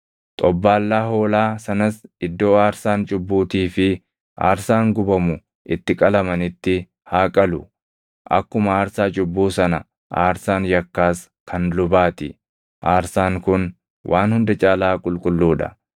Xobbaallaa hoolaa sanas iddoo aarsaan cubbuutii fi aarsaan gubamu itti qalamanitti haa qalu. Akkuma aarsaa cubbuu sana aarsaan yakkaas kan lubaa ti; aarsaan kun waan hunda caalaa qulqulluu dha.